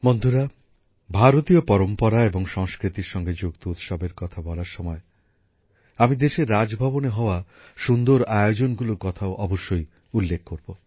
বন্ধুরা ভারতীয় পরম্পরা এবং সংস্কৃতির সঙ্গে যুক্ত উৎসবের কথা বলার সময় আমি দেশের রাজভবনে হওয়া সুন্দর আয়োজনগুলোর কথাও অবশ্যই উল্লেখ করব